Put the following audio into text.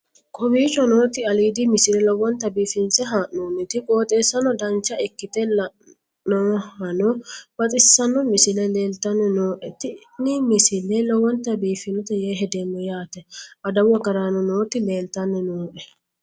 kowicho nooti aliidi misile lowonta biifinse haa'noonniti qooxeessano dancha ikkite la'annohano baxissanno misile leeltanni nooe ini misile lowonta biifffinnote yee hedeemmo yaate adawu agaraano nooti leeltanni nooe